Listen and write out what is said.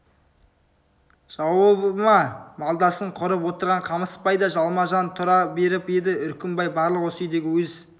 жауабы ма малдасын құрып отырған қамысбай да жалма-жан тұра беріп еді үркімбай барлық осы үйдегі өз